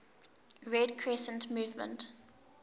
red crescent movement